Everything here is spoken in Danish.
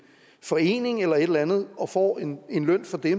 forening eller et eller andet og får en løn for det